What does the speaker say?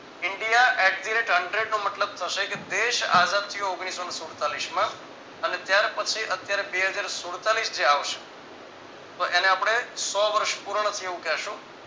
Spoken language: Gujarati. India Exerate Hundred નો મતલબ થશે કે દેશ આઝાદ થયું ઓગણીસો ને સુલતાલીસમાં અને ત્યાર પછી અત્યારે બે હજાર સુડતાલીસ જે આવશે તો એને આપણે સો વર્ષ પૂર્ણ થયું